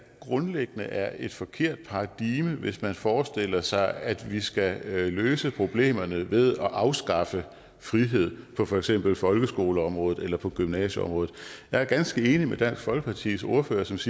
grundlæggende er et forkert paradigme hvis man forestiller sig at vi skal løse problemerne ved at afskaffe friheden på for eksempel folkeskoleområdet eller på gymnasieområdet jeg er ganske enig i dansk folkepartis ordførers